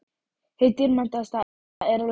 Hið dýrmætasta er látið mæta afgangi.